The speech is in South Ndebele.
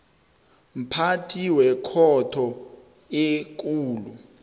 mphathi wekhotho ekulu